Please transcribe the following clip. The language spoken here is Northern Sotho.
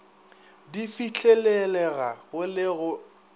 di fihlelelega go le go